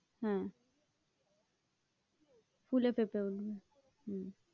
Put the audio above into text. হ্যাঁ ফুলে ফেঁপে উঠবে, হম